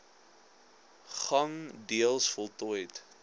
gang deels voltooid